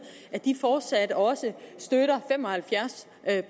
at de fortsat også støtter fem og halvfjerds